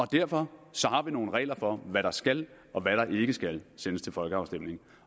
derfor har vi nogle regler for hvad der skal og hvad der ikke skal sendes til folkeafstemning